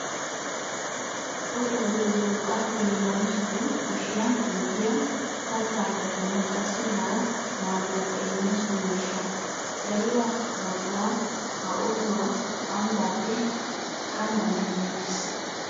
Otuwaa giyoogee urqqaappe hiillanchchatu kushiyan giigiyaa kattaa kattanawu qassi hara maaduwaakka immiyaa so miishsha. Dariyaa baggaa ha otuwaa ambbappe ganddan demmeettees.